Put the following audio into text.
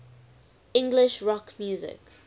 english rock music